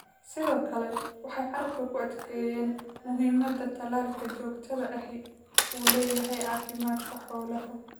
Sidoo kale, waxay carrabka ku adkeeyeen muhiimadda tallaalka joogtada ahi u leeyahay caafimaadka xoolaha.